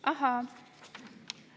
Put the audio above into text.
Ahhaa!